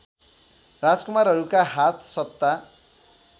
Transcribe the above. राजकुमारहरूका हात सत्ता